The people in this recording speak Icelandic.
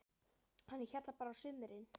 Hann er hérna bara á sumrin.